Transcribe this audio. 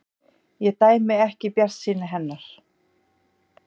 Ég dæmi ekki bjartsýni hennar.